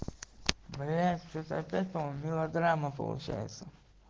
блять что-то опять по моему мелодрама получается